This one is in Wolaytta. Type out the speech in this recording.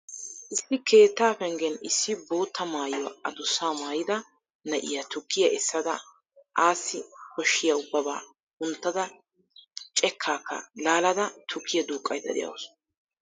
Issi keettaa penggen issi bootta maayuwa adussaa maayida na'iya tukkiya essada assi koshshiya ubbabaa kunttada cheeccaakka laalada tukkiya duuqqaydda de'awusu.